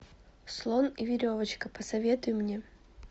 слон и веревочка посоветуй мне